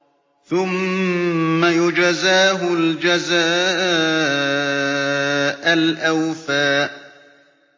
ثُمَّ يُجْزَاهُ الْجَزَاءَ الْأَوْفَىٰ